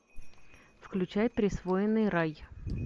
включай присвоенный рай